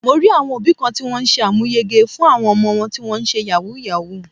Mo rí àwọn òbí kan tí wón ṣe àmúyege fún àwọn ọmọ wọn tó ń ṣe Yahoo Yahoo.